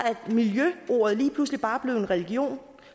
miljø lige pludselig bare blevet en religion